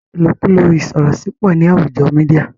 ilokulo isorosi pọ ní àwùjo mìdia